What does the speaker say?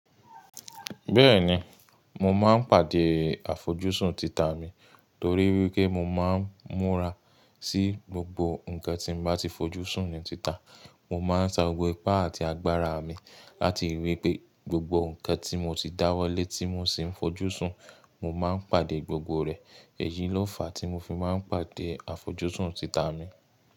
Bẹ́ẹ̀ni, mo máa ń pàdé àfojúsùn tita mi torí pé mo máa ń múra sí gbogbo nǹkan tí mo bá ti fojúsùn ní tita. Mo máa ń sa gbogbo ipá àti agbára mi láti ríi wí pé gbogbo nǹkan tí mo ti dáwọ́lé tí mo sì ń fojúsùn, mo máa ń pàdé gbogbo rẹ̀. Èyí ló fàá tí mo fi máa ń pàdé àfojúsùn tita mi.